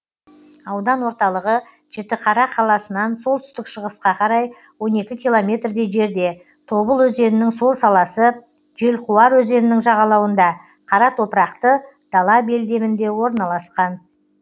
аудан орталығы жітіқара қаласынан солтүстік шығысқа қарай он екі километрдей жерде тобыл өзенінің сол саласы желқуар өзенінің жағалауында қара топырақты дала белдемінде орналасқан